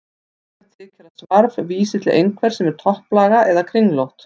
Líklegt þykir að svarf vísi til einhvers sem er topplaga eða kringlótt.